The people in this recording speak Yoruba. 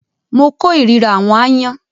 mo kó ìríra “àwọn aáyán ”.